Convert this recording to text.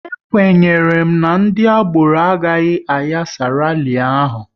E kwenyere m na ndị agboro agaghị ayasa rali ahụ